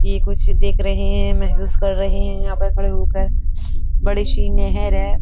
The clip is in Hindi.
यह कुछ देख रहे हैं। महसूस कर रहे है। यहा पे खड़े हो कर। बड़ी शी नेहेर है।